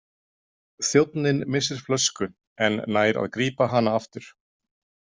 Þjónninn missir flösku en nær að grípa hana aftur.